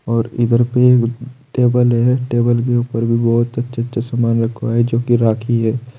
और इधर पे एक टेबल है टेबल के ऊपर भी बहुत अच्छे अच्छे सामान रखवा है जो कि राखी है।